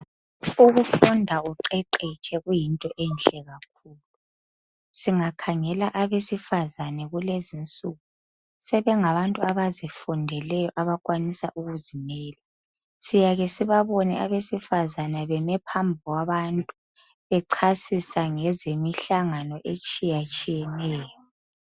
Ukufunda uqeqetshe kuyinto enhle kakhulu, singakhangela abesifazane kulezinsuku sebengabantu abazifundeleyo abakwanisa ukuzimela. Siyake sibabone abesifazane beme phambi kwabantu bechasisa ngezemihlangano atshiyatshiyeneyo